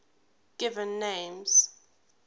given names